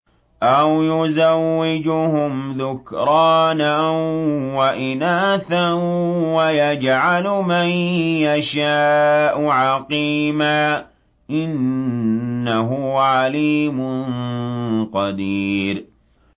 أَوْ يُزَوِّجُهُمْ ذُكْرَانًا وَإِنَاثًا ۖ وَيَجْعَلُ مَن يَشَاءُ عَقِيمًا ۚ إِنَّهُ عَلِيمٌ قَدِيرٌ